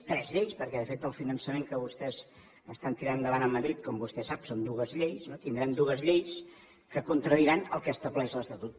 tres lleis perquè de fet el finançament que vostès estan tirant endavant amb madrid com vostè sap són dues lleis tindrem dues lleis que contradiran el que estableix l’estatut